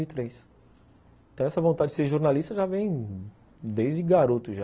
dois mil e Então essa vontade de ser jornalista já vem desde garoto já.